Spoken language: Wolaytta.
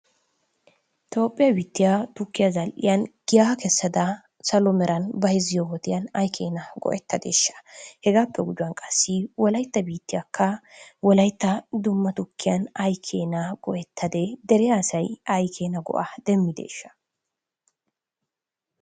Toophe biittiya tukkiya zal"iyaan giyaa kessada bayzziyo wodiyaan ay keena go"ettadeshsha? Hegappe gujuwan qassi wolaytta biittiya wolaytta dumma tukkiyan ay keena go"ettade? Dere asay ay keena go"o demmideeshsha?